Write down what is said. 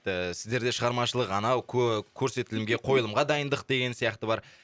ііі сіздерде шығарамашылық анау көрсетілімге қойылымға дайындық деген сияқты бар